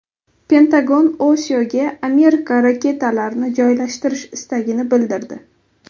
Pentagon Osiyoga Amerika raketalarini joylashtirish istagini bildirdi.